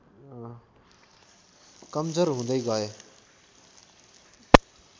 कमजोर हुँदै गए